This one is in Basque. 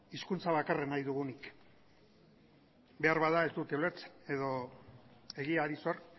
hizkuntza bakarra nahi dugunik beharbada ez dute ulertzen edo egiari zor